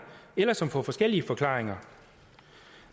eller som får forskellige forklaringer